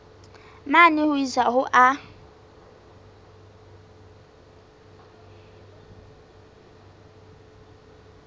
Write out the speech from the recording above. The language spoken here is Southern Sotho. mane ho isa ho a